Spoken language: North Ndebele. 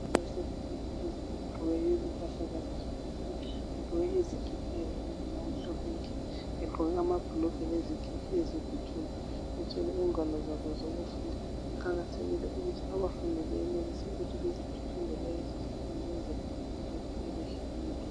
Abasebangeni eliphezulu bagqoke impahla zabo zokufunda. Begqoke izikipa ezilombala omhlophe nke! Begqoke amabhulugwe leziketi eziluthuli. Bethwele ingwalo zabo zokufunda. Kuqakathekile ukuthi abafundi benelise ukuthi bafunde lezizifundo ukuze bakhule behlakaniphile.